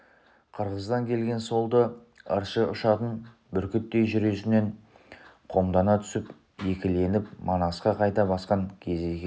қырғыздан келген солты ыршы ұшатын бүркіттей жүресінен қомдана түсіп екіленіп манасқа қайта басқан кезі екен